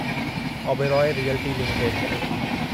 Oberoi realty limited